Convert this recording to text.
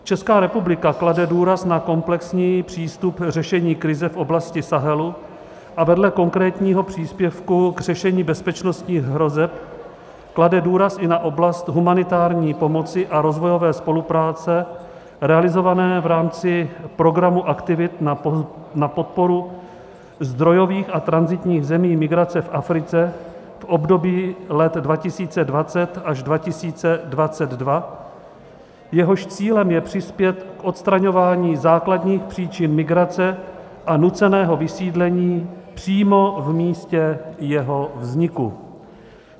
Česká republika klade důraz na komplexní přístup řešení krize v oblasti Sahelu a vedle konkrétního příspěvku k řešení bezpečnostních hrozeb klade důraz i na oblast humanitární pomoci a rozvojové spolupráce realizované v rámci programu aktivit na podporu zdrojových a tranzitních zemí migrace v Africe v období let 2020 až 2022, jehož cílem je přispět k odstraňování základních příčin migrace a nuceného vysídlení přímo v místě jeho vzniku.